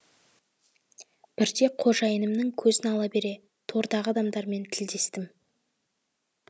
бірде қожайынымның көзін ала бере тордағы адамдармен тілдестім